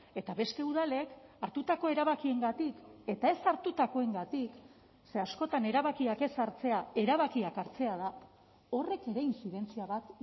eta beste udalek hartutako erabakiengatik eta ez hartutakoengatik ze askotan erabakiak ez hartzea erabakiak hartzea da horrek ere intzidentzia bat